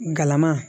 Galama